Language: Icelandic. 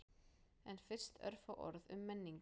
En fyrst örfá orð um menningu.